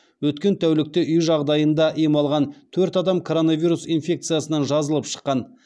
өткен тәулікте үй жағдайында ем алған төрт адам коронавирус инфекциясынан жазылып шыққан